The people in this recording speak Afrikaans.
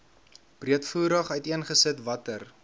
breedvoerig uiteengesit watter